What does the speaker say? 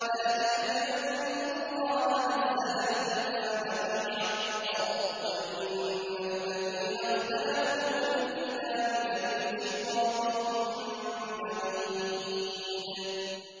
ذَٰلِكَ بِأَنَّ اللَّهَ نَزَّلَ الْكِتَابَ بِالْحَقِّ ۗ وَإِنَّ الَّذِينَ اخْتَلَفُوا فِي الْكِتَابِ لَفِي شِقَاقٍ بَعِيدٍ